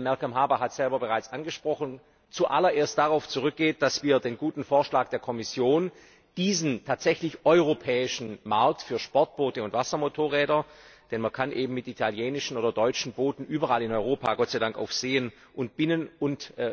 Malcolm Harbour hat das bereits angesprochen zuallererst darauf zurückgeht, dass wir den guten Vorschlag der Kommission, diesen tatsächlich europäischen Markt für Sportboote und Wassermotorräder denn man kann eben mit italienischen oder deutschen Booten Gott sei Dank überall in Europa auf Seen und Binnen und